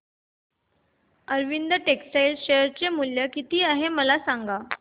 Arvind textile चे share मूल्य किती आहे मला सांगा